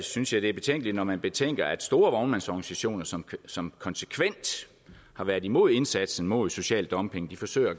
synes jeg det er betænkeligt når man betænker at store vognmandsorganisationer som som konsekvent har været imod indsatsen mod social dumping forsøger